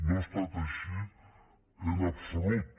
no ha estat així en absolut